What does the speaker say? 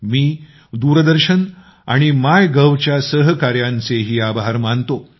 मी दूरदर्शन आणि MyGovच्या सहकाऱ्यांचेही आभार मानतो